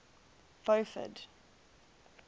beaufort